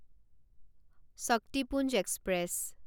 Shaktipunj express